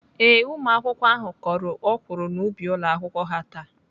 Ee, ụmụakwụkwọ ahụ kọrọ ọkwụrụ n'ubi ụlọakwụkwọ ha taa.